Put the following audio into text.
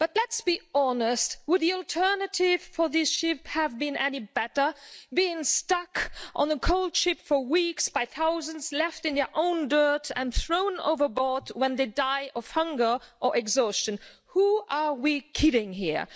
But let's be honest would the alternative for these sheep have been any better, being stuck on a cold ship for weeks in their thousands, left in their own dirt and thrown overboard when they die of hunger or exhaustion? Whom are we kidding here?